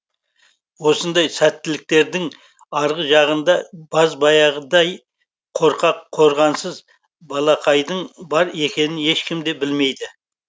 осындай сәттіліктердің арғы жағында баз баяғыдай қорқақ қорғансыз балақайдың бар екенін ешкім де білмейді